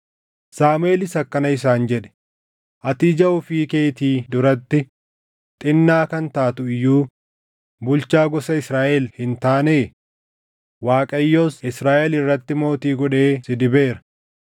Saamuʼeelis akkana isaan jedhe; “Ati ija ofii keetii duratti xinnaa kan taatu iyyuu bulchaa gosa Israaʼel hin taanee? Waaqayyos Israaʼel irratti mootii godhee si dibeera.